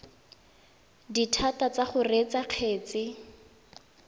dithata tsa go reetsa kgetse